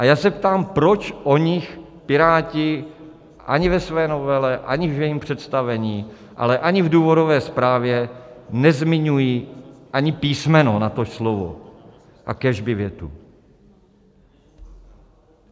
A já se ptám, proč o nich Piráti ani ve své novele, ani v jejím představení, ale ani v důvodové zprávě, nezmiňují ani písmeno, natož slovo a kéž by větu.